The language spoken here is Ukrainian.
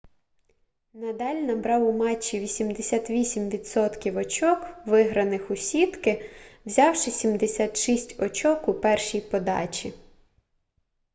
надаль набрав у матчі 88% очок виграних у сітки взявши 76 очок у першій подачі